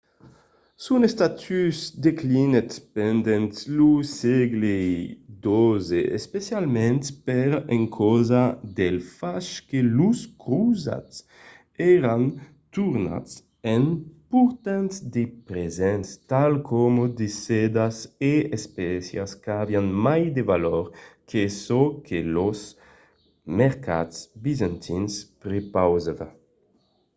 son estatus declinèt pendent lo sègle xii essencialament per encausa del fach que los crosats èran tornats en portant de presents tals coma de sedas e d’espècias qu'avián mai de valor que çò que los mercats bizantins prepausavan